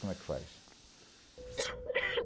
Como é que faz?